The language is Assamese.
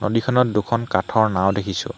নদীখনত দুখন কাঠৰ নাও দেখিছোঁ।